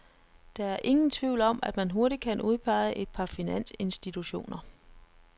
Der er ingen tvivl om, at man hurtigt kan udpege et par finansinstitutioner.